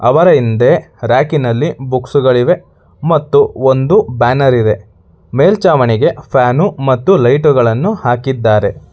ಅವರ ಹಿಂದೆ ರಾಕ್ನಲ್ಲಿ ಬುಕ್ಸುಗಳಿವೆ ಮತ್ತು ಒಂದು ಬ್ಯಾನರ್ ಇದೆ ಮೇಲ್ಛಾವಣಿಗೆ ಫ್ಯಾನು ಮತ್ತು ಲೈಟುಗಳನ್ನು ಹಾಕಿದ್ದಾರೆ.